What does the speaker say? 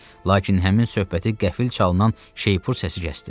Lakin həmin söhbəti qəfil çalınan şeypur səsi kəsdi.